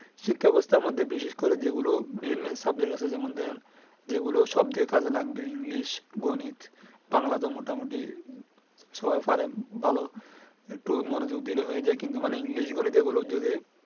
শিক্ষা ব্যবস্থার মধ্যে বিশেষকরে যেগুলো Main Main Subject আছে। যেমন ধরেন যেগুলো সবদিকে কাজে লাগবে। English, গণিত, বাংলাতো মোটামোটি সবাই পারেন । ভালো একটু মনোযোগ দিলে হয়ে যায় কি মানে English গণিত এইগুলো যদি